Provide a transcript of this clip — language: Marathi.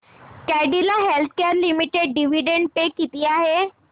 Cadila healthcare limited dividend pay किती आहे